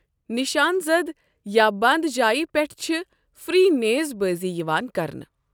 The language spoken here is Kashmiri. نشان زد یا بنٛد جایہِ پٮ۪ٹھ چھُ فری نیز بٲزی یِوان کرنہٕ۔